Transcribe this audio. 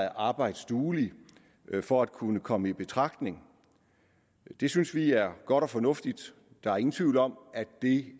arbejdsduelig for at kunne komme i betragtning det synes vi er godt og fornuftigt der er ingen tvivl om